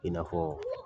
I n'a fɔ